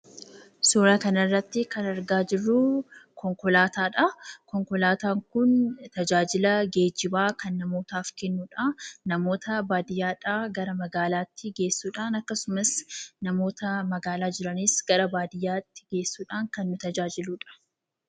Suuraa kanarratti kan argaa jirruu konkolaataadhaa. Konkolaataan kun tajaajila geejjibaa kan namootaaf kennudha. Namoota baadiyyaadhaa gara magaalaatti geessuudhaan, akkasumas namoota magaalaa jiranis gara baadiyyaatti geessuudhaan kan nu tajaajiludha.